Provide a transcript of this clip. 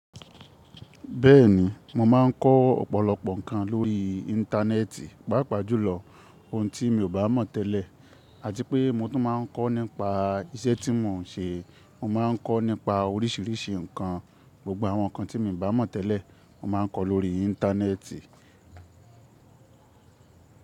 Bẹ́ẹ̀ni, mo máa ń kọ́ ọ̀pọ̀lọpọ̀ ǹkan lórí Íńtánẹ́ẹ̀tì, pàápàá jùlọ ohun tí mi ò bá mọ̀ tẹ́lẹ̀ àti pé mo tún máa ń kọ́ nípa iṣẹ́ tí mo ń ṣe. Mo ma ń kọ́ nípa orísìírísìí ǹkan. Gbogbo àwọn ǹkan tí mi ò bá mọ̀ tẹ́lẹ̀, mo máa ń kọ́ lórí Íńtánẹ́ẹ̀tì.